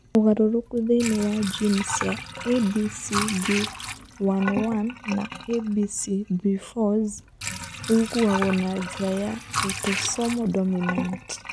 Ũgarũrũku thĩinĩ wa jini cia ABCB11 na ABCB4 ((s) ũigagwo na njĩra ya autosomal dominant.